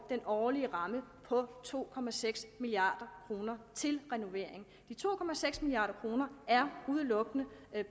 den årlige ramme på to milliard kroner til renovering de to milliard kroner er udelukkende